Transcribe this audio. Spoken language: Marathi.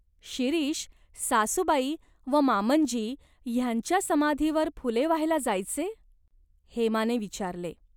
"शिरीष, सासूबाई व मामंजी ह्यांच्या समाधीवर फुले वाहायला जायचे ?" हेमाने विचारले.